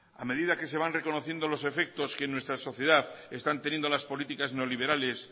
a medida que se van reconociendo los efectos que en nuestra sociedad están teniendo las políticas neoliberales